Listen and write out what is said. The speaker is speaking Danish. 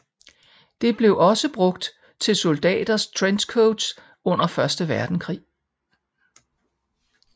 Det blev også brugt til soldaters trenchcoats under første verdenskrig